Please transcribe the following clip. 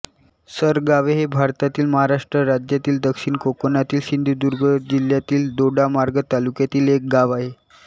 सरगावे हे भारतातील महाराष्ट्र राज्यातील दक्षिण कोकणातील सिंधुदुर्ग जिल्ह्यातील दोडामार्ग तालुक्यातील एक गाव आहे